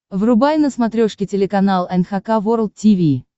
врубай на смотрешке телеканал эн эйч кей волд ти ви